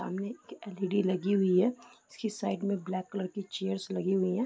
सामने एक L E D लगी हुई है। इसके साइड में ब्लैक कलर की चेयर्स लगी हुई हैं।